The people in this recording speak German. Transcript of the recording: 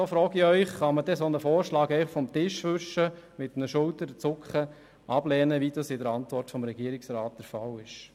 So frage ich Sie: Kann man denn einen solchen Vorschlag einfach vom Tisch wischen, ihn mit einem Schulterzucken ablehnen, wie das in der Antwort vom Regierungsrat der Fall ist?